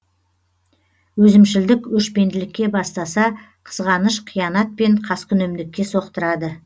өзімшілдік өшпенділікке бастаса қызғаныш қиянат пен қаскүнемдікке соқтырады